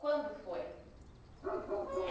Quando foi?